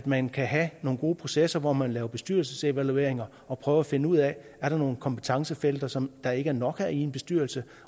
man kan have nogle gode processer hvor man laver bestyrelsesevalueringer og prøver at finde ud af om er nogen kompetencefelter som der ikke er nok af i en bestyrelse